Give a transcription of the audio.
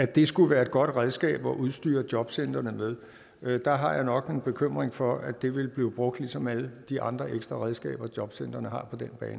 det skulle være et godt redskab at udstyre jobcentrene med der har jeg nok en bekymring for at det vil blive brugt ligesom alle de andre ekstra redskaber jobcentrene har